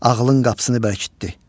Ağlın qapısını bərkitdi.